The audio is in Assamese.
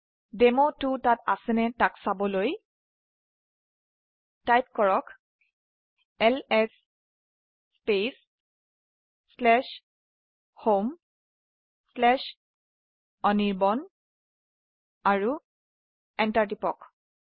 ডেমো2 তাত আছে নে নাই চাবলৈ লিখক এলএছ spacehomeআনিৰ্বাণ আৰু এন্টাৰ টিপক